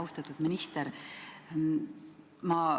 Austatud minister!